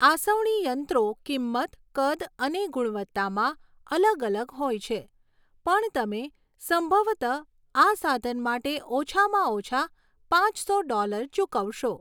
આસવણી યંત્રો કિંમત, કદ અને ગુણવત્તામાં અલગ અલગ હોય છે પણ તમે સંભવત આ સાધન માટે ઓછામાં ઓછા પાંચસો ડૉલર ચૂકવશો.